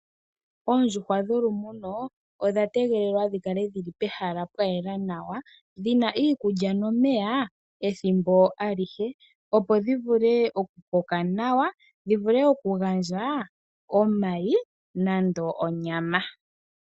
Oondjuhwa dhoku muna odha tegelelwa dhi kale pehala pwayela nawa, dhina iiikulya nomeya ethimbo alihe, opo dhi vule oku koka nawa, dhi gandje omayi nonyama.